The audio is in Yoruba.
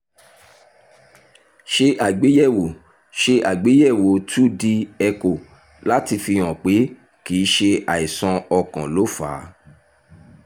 ṣe àgbéyẹ̀wò ṣe àgbéyẹ̀wò 2d echo láti fihàn pé kì í ṣe àìsàn ọkàn ló fà á